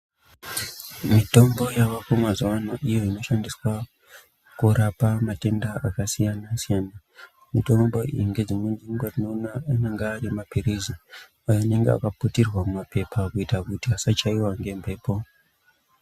Mitombo yavako mazuwa ano iyo inoshandiswa, kurapa matenda akasiyana-siyana. Mitombo iyi ngedzimweni dzenguwa tinoona anenga ari maphirizi, akaputirwa ngemaphepha kuti asachaiwa ngemphepo.